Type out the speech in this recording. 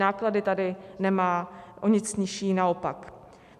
Náklady tady nemá o nic nižší, naopak.